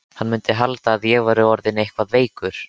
Hann mundi halda að ég væri orðinn eitthvað veikur.